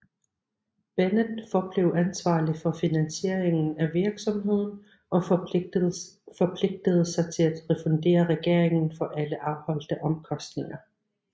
Bennett forblev ansvarlig for finansieringen af virksomheden og forpligtede sig til at refundere regeringen for alle afholdte omkostninger